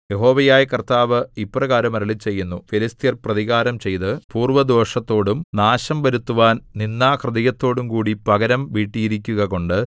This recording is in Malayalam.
യഹോവയായ കർത്താവ് ഇപ്രകാരം അരുളിച്ചെയ്യുന്നു ഫെലിസ്ത്യർ പ്രതികാരം ചെയ്ത് പൂർവ്വദ്വേഷത്തോടും നാശം വരുത്തുവാൻ നിന്ദാഹൃദയത്തോടും കൂടി പകരം വീട്ടിയിരിക്കുകകൊണ്ട്